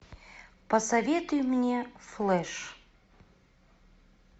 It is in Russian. посоветуй мне флэш